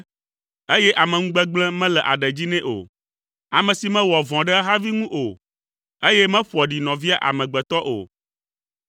eye ameŋugbegblẽ mele aɖe dzi nɛ o, ame si mewɔa vɔ̃ ɖe ehavi ŋu o, eye meƒoa ɖi nɔvia amegbetɔ o,